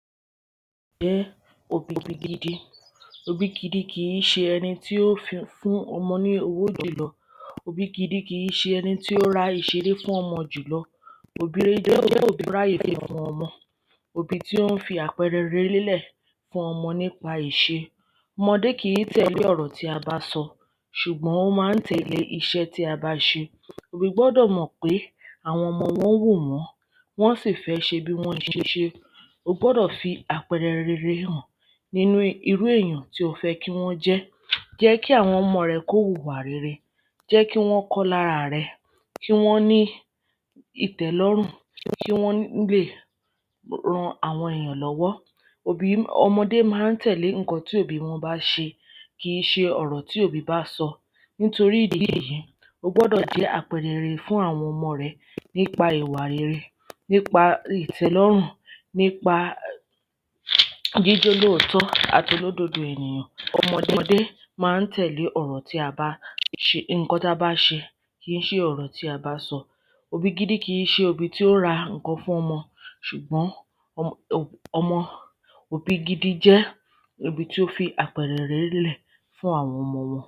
jẹ́ òbí gidi òbí gidi kìí ṣe ẹni tí ó fún ọmọ ní owó jùlọ òbí gidi kìí ṣe ẹni tí ó ra ohun ìṣeré fún ọmọ jùlọ òbí rere jẹ́ òbí tí ó ráye fún ọmọ òbí tí ó ń fi àpẹrẹ rere lélẹ̀ fún ọmọ nipasẹ ìṣe ọmọdé kìí tẹ̀lé ọ̀rọ̀ tí a bá sọ ṣùgbọ́n ó maa ń tẹ̀lé ìṣẹ́ tí a bá ṣe òbí gbọ́dọ̀ mọ̀ pé àwọn ọmọ wọn ń wò wọ́n wọn a si fẹ ṣe bi wọn ṣe ṣe o gbọ́dọ̀ fi apẹẹrẹ rere han ninu irú èyàn tí o fẹ́ kí wọ́n jẹ́ jẹ́ kí àwọn ọmọ rẹ ko huwa rere jẹ́ kí wọ́n kọ́ lára rẹ kí wọ́n ní ìtẹ́lọ́rùn kí wọ́n lè ran àwọn ènìyàn lọ́wọ́ òbí, ọmọdé ma ń tẹ̀lé ǹkan tí àwọn òbi wọ́n bá ṣe kìí ṣe ọ̀rọ̀ tí òbí bá sọ nítorí ìdí èyí, o gbọ́dọ̀ jẹ́ àpẹrẹ rere fún àwọn ọmọ rẹ nipa ìwà rere, nípa ìtẹ́lọ́rùn nípa jíjẹ́ olóòtọ àti olódodo ènìyàn ọmọde ma ń tẹ̀lé nkan tí a bá ṣe, kìí ṣe ọ̀rọ̀ tí a bá sọ òbí gidi kìí ṣe obi tí ó n ra nkan fún ọmọ ṣùgbọ́n òbí gidi jẹ́ òbí tí ó fi àpẹẹrẹ rere lé lẹ̀ fún àwọn ọmọ wọn